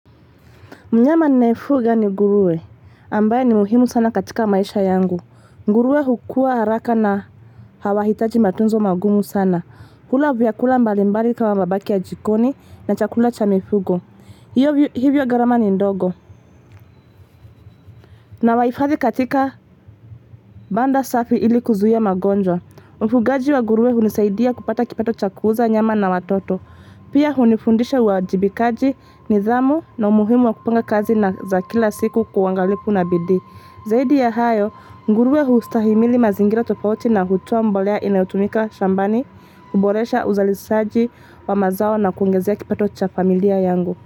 Mnyama ninaefuga ni nguruwe ambaye ni muhimu sana katika maisha yangu. Nguruwe hukua haraka na hawahitaji matunzo magumu sana. Hula vyakula mbalimbali kama mabaki ya jikoni na chakula cha mifugo Hivyo, gharama ni ndogo Nawahifadhi katika banda safi ili kuzuia magonjwa Ufugaji wa nguruwe hunisaidia kupata kipato cha kuuza nyama na watoto Hio hunifundisha uwajibikaji, nidhamu na umuhimu wa kupiga kazi za kila siku kwa uangalifu na bidii Zaidi ya hayo, nguruwe hustahimili mazingira tofauti na hutoa mbolea inayotumika shambani kuboresha uzalishaji wa mazao na kuongezea kipato cha familia yangu.